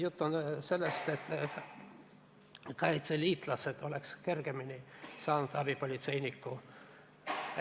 Jutt on sellest, et kaitseliitlastel oleks kergemini võimalik saada abipolitseinikuks.